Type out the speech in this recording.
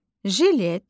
Jilet.